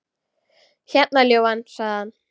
Hérna, ljúfan, sagði hann.